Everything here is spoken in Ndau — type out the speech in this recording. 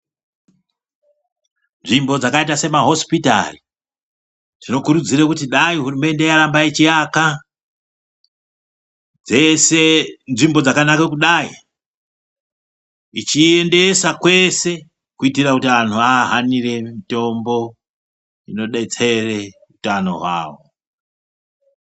Nzvimbo dzakaita se ma hosipitari zvino kurudzire kuti dai hurumende yaramba ichi aka dzese nzvimbo dzakanaka kudai ichi endesa kwese kuitira kuti vantu va hanire mitombo ino destere utano hwawo.